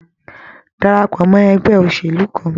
Darapọ̀ mọ ẹgbẹ́ òṣèlú kàn!